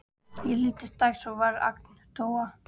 Ég hlýddi strax og varð agndofa.